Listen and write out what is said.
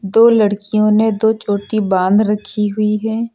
दो लड़कियों ने दो चोटी बांध रखी हुई है।